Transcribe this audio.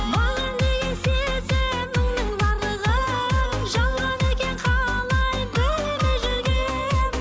маған деген сезіміңнің барлығын жалған екен қалай білмей жүргенмін